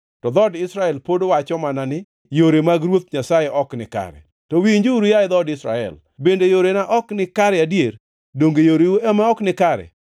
To dhood Israel pod wacho mana ni, ‘Yore mag Ruoth Nyasaye ok nikare.’ To winjuru, yaye dhood Israel: Bende yorena ok nikare adier? Donge yoreu ema ok nikare?